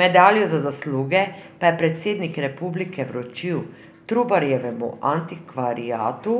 Medaljo za zasluge pa je predsednik republike vročil Trubarjevemu antikvariatu